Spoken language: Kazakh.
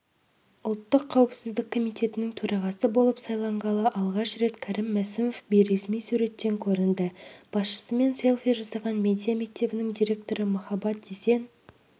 ұлттық қауіпсіздік комитетінің төрағасы болып сайланғалы алғаш рет кәрім мәсімов бейресми суреттен көрінді басшысымен селфи жасаған медиа мектебінің директоры махаббат есен